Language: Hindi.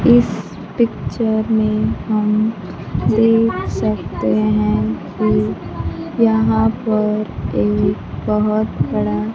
इस पिक्चर में हम देख सकते हैं कि यहां पर एक बहुत बड़ा--